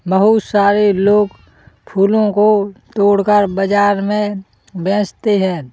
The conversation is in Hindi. बहुत सारे लोग फूलों को तोड़कर बाजार में बेचते है।